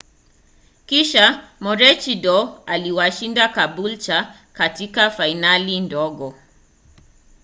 kisha maroochydore iliwashinda caboolture katika fainali ndogo